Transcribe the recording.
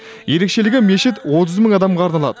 ерекшелігі мешіт отыз мың адамға арналады